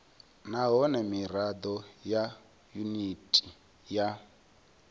nahone mirado ya yuniti ya